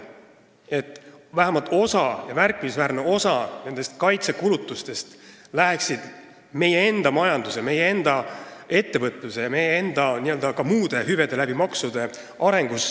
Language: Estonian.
Vähemalt osa – ja märkimisväärne osa – nendest kaitsekulutustest läheksid maksude kaudu meie enda majanduse, meie enda ettevõtluse ja meie enda muude hüvede arengusse.